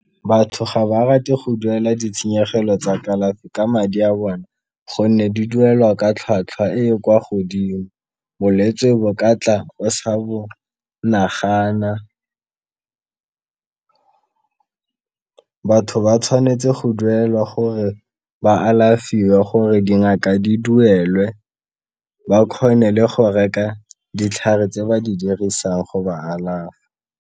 Batho ga ba rate go duela ditshenyegelo tsa kalafi ka madi a bona, gonne di duelwa ka tlhwatlhwa e e kwa godimo. Bolwetse bo katla o sa bo nagana batho ba tshwanetse go duelwa gore ba alafiwe, gore dingaka di duelwe ba kgone le go reka ditlhare tse ba di dirisang go ba alafa.